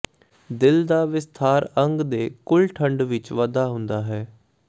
ਦਿਲ ਦਾ ਵਿਸਥਾਰ ਅੰਗ ਦੇ ਕੁੱਲ ਖੰਡ ਵਿਚ ਵਾਧਾ ਹੁੰਦਾ ਹੈ